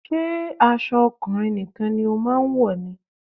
Ṣé aṣọ ọkùnrin nìkan ni o máa ń wọ̀ ni?